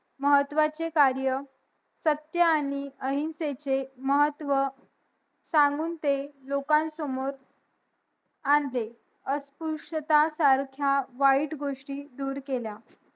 महत्वाचे कार्य सत्य आणि अहिंसेचे महत्व सांगून ते लोकं समोर आणले अस्पृश्यता सारख्या वाईट गोष्टी दूर केल्या